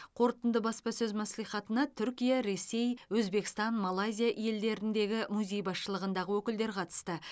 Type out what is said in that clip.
қорытынды баспасөз мәслихатына түркия ресей өзбекстан малайзия елдеріндегі музей басшылығындағы өкілдер қатысты